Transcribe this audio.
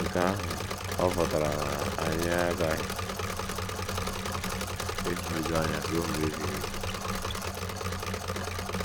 Nke ahụ ọ̀ pụtara na anyị aghaghị ịhụju anya ruo mgbe ebighị ebi?